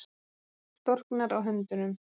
Storknar á höndunum.